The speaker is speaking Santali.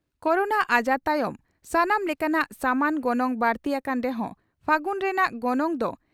ᱠᱚᱨᱳᱱᱟ ᱟᱡᱟᱨ ᱛᱟᱭᱚᱢ ᱥᱟᱱᱟᱢ ᱞᱮᱠᱟᱱᱟᱜ ᱥᱟᱢᱟᱱ ᱜᱚᱱᱚᱝ ᱵᱟᱹᱲᱛᱤ ᱟᱠᱟᱱ ᱨᱮᱦᱚᱸ ᱯᱷᱟᱹᱜᱩᱱ ᱨᱮᱱᱟᱜ ᱜᱚᱱᱚᱝ ᱫᱚ